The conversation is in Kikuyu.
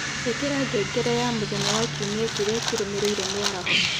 ĩikira ngengere ya Mũthenya wa Kiumia kĩrĩa kĩrũmĩrĩire mĩaraho